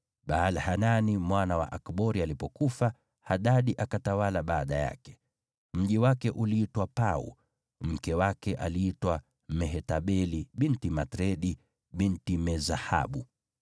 Baal-Hanani mwana wa Akbori alipofariki, Hadadi akawa mfalme baada yake. Mji wake uliitwa Pau, na mkewe aliitwa Mehetabeli binti Matredi, binti Me-Zahabu.